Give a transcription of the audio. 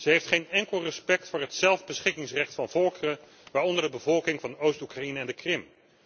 Zij heeft geen enkel respect voor het zelfbeschikkingsrecht van volkeren waaronder de bevolking van Oost Oekraïne en de Krim.